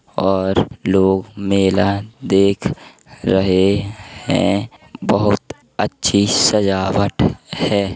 और लोग मेला देख रहे हैं। बहोत अच्छी सजावट है।